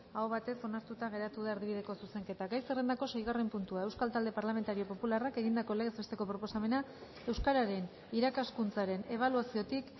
aho batez onartuta geratu da erdibideko zuzenketa gai zerrendako seigarren puntua euskal talde parlamentario popularrak egindako legez besteko proposamena euskararen irakaskuntzaren ebaluaziotik